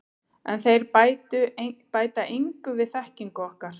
En þeir bæta engu við þekkingu okkar.